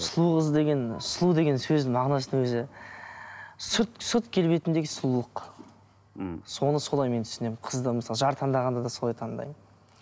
сұлу қыз деген сұлу деген сөздің мағынасының өзі сүт сүт келбетіндегі сұлулық мхм соны солай мен түсінемін қызды мысалы жар таңдағанда да солай таңдаймын